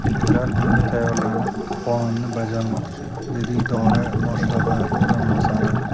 Ular bunga tayyorlanib, qonunni bajarmoqchi”, dedi idora boshlig‘i o‘rinbosari.